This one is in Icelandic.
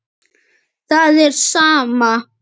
Það er sama.